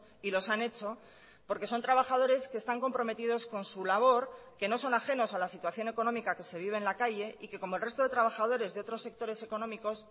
y los han hecho porque son trabajadores que están comprometidos con su labor que no son ajenos a la situación económica que se vive en la calle y que como el resto de trabajadores de otros sectores económicos